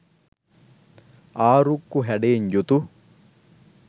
ආරුක්කු හැඩයෙන් යුතු